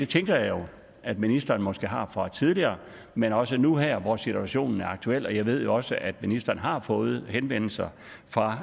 tænker jo at ministeren måske har det fra tidligere men også nu her hvor situationen er aktuel og jeg ved jo også at ministeren har fået henvendelser fra